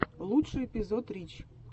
лучший эпизод рич